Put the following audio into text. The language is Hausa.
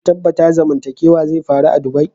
Kun tabatta zamantakewa zai faru a'dubai?